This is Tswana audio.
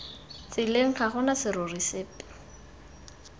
tseleng ga gona serori sepe